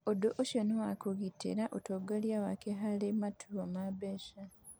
Ũndũ ũcio nĩ wa kũgitĩra ũtongoria wake harĩ matua ma biacara.